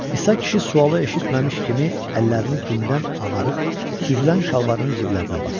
İsa kişi sualı eşitməmiş kimi əllərini gündən ağarıb süzülən şalvarın ciblərinə basdı.